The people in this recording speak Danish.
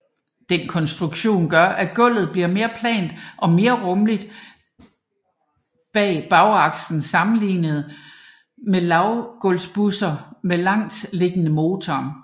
Den konstruktion gør at gulvet bliver mere plant og mere rummeligt bag bagakslen sammenlignet med lavgulvsbusser med langsliggende motor